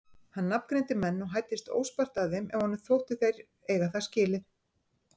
Hann nafngreindi menn og hæddist óspart að þeim ef honum þótti þeir eiga það skilið.